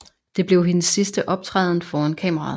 Det blev hendes sidste optræden foran kameraet